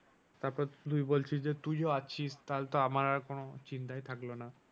তারপর তুই বলছিস যে তুইও আছিস তাহলে তো আমার আর কোনো চিন্তাই থাকলো না।